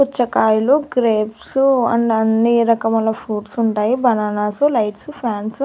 పుచ్చకాయలు grapes and అన్ని రకముల ఫ్రూట్స్ ఉంటాయి బనానాసు లైట్సు ఫ్యాన్సు .